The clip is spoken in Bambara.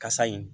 Kasa in